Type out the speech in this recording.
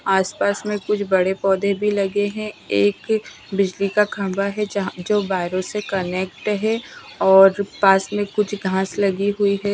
आसपास में कुछ बड़े पौधे भी लगे हैं एक बिजली का खंबा है जो वायर्स से कनेक्ट है और पास में कुछ घास लगी हुई है ।